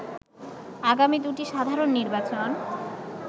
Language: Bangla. আগামী দুটি সাধারণ নির্বাচন